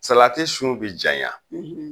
Salati sun be janya